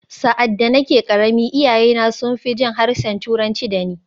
Sa’ad da nake ƙarami, iyayena sun fi jin harshen Turanci da ni.